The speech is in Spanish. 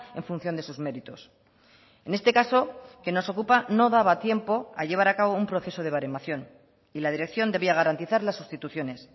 en función de sus méritos en este caso que nos ocupa no daba tiempo a llevar a cabo un proceso de baremación y la dirección debía garantizar las sustituciones